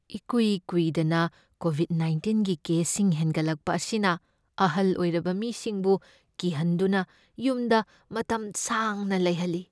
ꯏꯀꯨꯏ ꯀꯨꯏꯗꯅ ꯀꯣꯕꯤꯗ ꯅꯥꯢꯟꯇꯤꯟꯒꯤ ꯀꯦꯁꯁꯤꯡ ꯍꯦꯟꯒꯠꯂꯛꯄ ꯑꯁꯤꯅ ꯑꯍꯜ ꯑꯣꯏꯔꯕ ꯃꯤꯁꯤꯡꯕꯨ ꯀꯤꯍꯟꯗꯨꯅ ꯌꯨꯝꯗ ꯃꯇꯝ ꯁꯥꯡꯅ ꯂꯩꯍꯜꯂꯤ꯫